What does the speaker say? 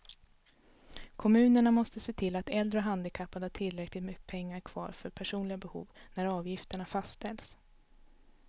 Kommunerna måste se till att äldre och handikappade har tillräckligt med pengar kvar för personliga behov när avgifterna fastställs.